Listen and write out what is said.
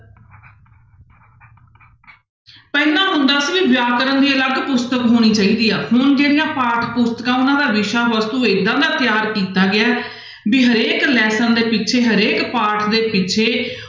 ਪਹਿਲਾਂ ਹੁੰਦਾ ਸੀ ਵੀ ਵਿਆਕਰਨ ਦੀ ਅਲਗ ਪੁਸਤਕ ਹੋਣੀ ਚਾਹੀਦੀ ਆ ਹੁਣ ਜਿਹੜੀਆਂ ਪਾਠ ਪੁਸਤਕਾਂ ਉਹਨਾਂ ਦਾ ਵਿਸ਼ਾ ਵਸਤੂ ਏਦਾਂ ਦਾ ਤਿਆਰ ਕੀਤਾ ਗਿਆ ਹੈ ਵੀ ਹਰੇਕ lesson ਦੇ ਪਿੱਛੇ ਹਰੇਕ ਪਾਠ ਦੇ ਪਿੱਛੇ